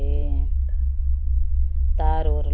तार ओर लगल बा करिया करिया सबके --